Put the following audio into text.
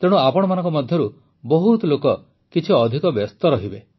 ତେଣୁ ଆପଣମାନଙ୍କ ମଧ୍ୟରୁ ବହୁତ ଲୋକ କିଛି ଅଧିକ ବ୍ୟସ୍ତ ରହିବେ